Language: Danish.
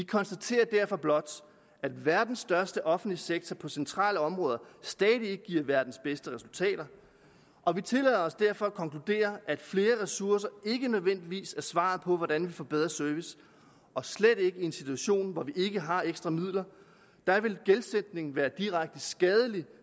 konstaterer derfor blot at verdens største offentlige sektor på centrale områder stadig ikke giver verdens bedste resultater og vi tillader os derfor at konkludere at flere ressourcer ikke nødvendigvis er svaret på hvordan vi får bedre service og slet ikke i en situation hvor vi ikke har ekstra midler da vil gældsætning være direkte skadeligt